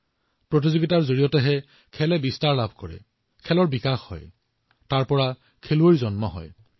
প্ৰতিযোগিতাৰ পৰাই খেলখন সম্প্ৰসাৰিত হয় খেলৰ বিকাশ হয় খেলুৱৈসকলেও ইয়াৰ পৰাই ওলাই